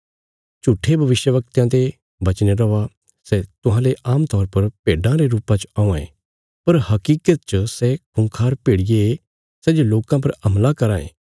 झूट्ठे भविष्यवक्तयां ते बचीने रौआ सै तुहांले आमतौर पर भेड्डां रे रुपा च औआं यें पर हकीकत च सै खूँखार भेड़िये सै जे लोकां पर हमला करां ये